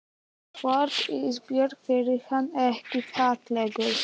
Hvort Ísbjörgu þyki hann ekki fallegur?